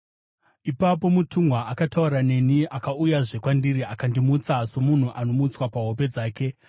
Ipapo mutumwa akataura neni akauyazve kwandiri akandimutsa, somunhu anomutswa pahope dzake.